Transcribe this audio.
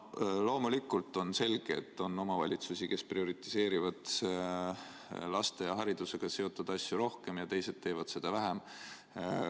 Loomulikult on selge, et on omavalitsusi, kes prioritiseerivad laste ja haridusega seotud asju rohkem, ja teised teevad seda vähem.